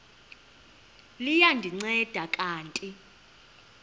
liya ndinceda kanti